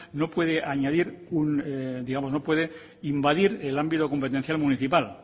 no puede invadir el ámbito competencial municipal